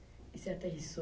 E você aterrissou